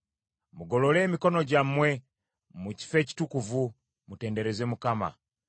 Mugolole emikono gyammwe mu kifo ekitukuvu, mutendereze Mukama .